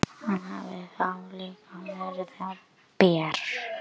Var hann farinn að rífast við dómarana frammi?